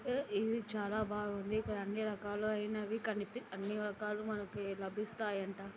ఏ ఇది చాలా బాగుంది ఇక్కడ అన్ని రకాలు అయినవి కనిపి అన్ని రకాలు అయినవి లభిస్తాయంట